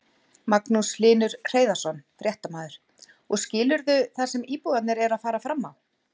Magnús Hlynur Hreiðarsson, fréttamaður: Og skilurðu það sem íbúarnir eru að fara fram á?